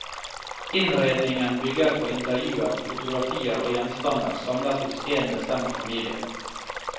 Innredningen bygger på intervjuer, fotografier og gjenstander samlet hos én bestemt familie.